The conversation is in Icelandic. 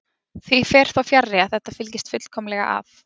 Því fer þó fjarri að þetta fylgist fullkomlega að.